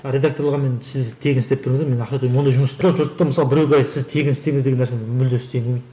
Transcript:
а редакторларға мен сіз тегін істеп беріңіздер мен ақша ондай жұмысты жоқ жұртты мысалы біреуге сіз тегін істеңіз деген нәрсені мүлде істегім келмейді